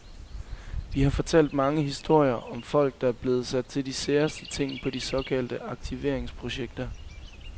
Vi har fortalt mange historier, om folk, der blev sat til de særeste ting på de såkaldte aktiveringsprojekter.